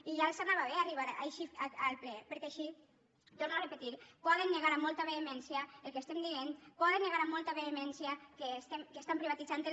i ja els anava bé arribar així al ple perquè així ho torno a repetir poden negar amb molta vehemència el que estem dient poden negar amb molta vehemència que estan privatitzant el